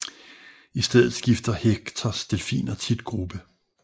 I stedet skifter Hectors delfiner tit gruppe